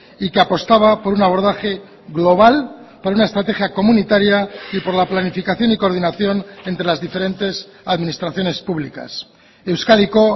y que apostaba por un abordaje global por una estrategia comunitaria y por la planificación y coordinación entre las diferentes administraciones públicas euskadiko